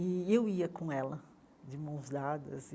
E eu ia com ela, de mãos dadas.